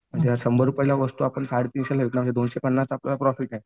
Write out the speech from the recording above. म्हणजे शंभर रुपयाला वस्तू आपण साडे तीनशेला विकणार का दोनशे पन्नास आपला प्रॉफिट आहे.